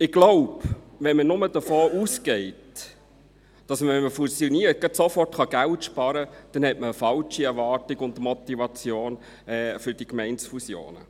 Ich glaube, wenn man nur davon ausgeht, dass man mit einer Fusionierung gerade sofort Geld sparen kann, dann hat man eine falsche Erwartung und Motivation für die Gemeindefusionen.